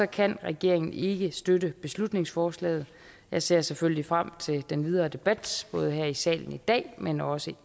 kan regeringen ikke støtte beslutningsforslaget jeg ser selvfølgelig frem til den videre debat både her i salen i dag men også